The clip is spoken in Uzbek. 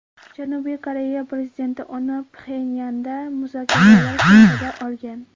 Janubiy Koreya prezidenti uni Pxenyandagi muzokaralar chog‘ida olgan.